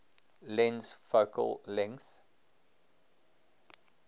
lens focal length